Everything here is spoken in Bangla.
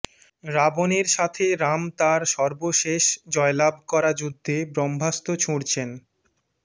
রাবণের সাথে রাম তার সর্বশেষ জয়লাভ করা যুদ্ধে ব্রহ্মাস্ত্র ছুড়ছেন